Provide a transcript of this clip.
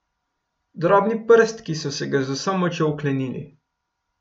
Drobni prstki so se ga z vso močjo oklenili.